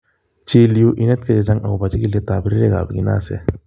Chil yu inetkei chechang' agobo chikiletab rirekab kinase.